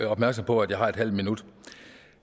opmærksom på at jeg har en halv minut